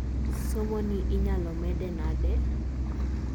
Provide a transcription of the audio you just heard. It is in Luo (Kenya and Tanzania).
somo ni inyalo medo nade?